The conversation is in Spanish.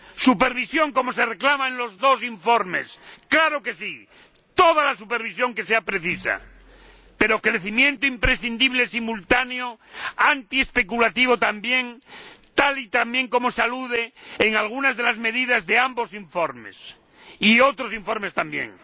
Supervisión, como se reclama en los dos informes —claro que sí, toda la supervisión que sea precisa—, pero crecimiento imprescindible, simultáneo, antiespeculativo también, tal y como se menciona en algunas de las medidas de ambos informes y de otros informes también.